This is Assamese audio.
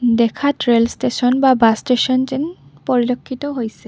দেখাত ৰেল ষ্টেচন বা বাছ ষ্টেচন যেন পৰিলক্ষিত হৈছে।